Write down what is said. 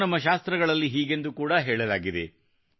ಮತ್ತು ನಮ್ಮ ಶಾಸ್ತ್ರಗಳಲ್ಲಿ ಹೀಗೆಂದು ಕೂಡಾ ಹೇಳಲಾಗಿದೆ